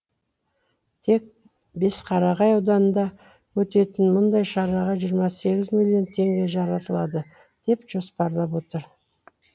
тек бесқарағай ауданында өтетін мұндай шараға жиырма сегіз миллион теңге жаратылады деп жоспарланып отыр